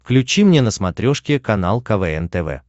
включи мне на смотрешке канал квн тв